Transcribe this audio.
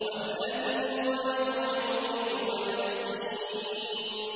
وَالَّذِي هُوَ يُطْعِمُنِي وَيَسْقِينِ